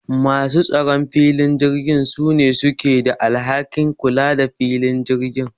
Masu tsaron filin jirgi sune suke da alhakin kula the filin jirgi